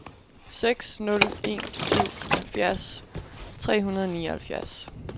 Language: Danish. seks nul en syv halvfjerds tre hundrede og nioghalvfjerds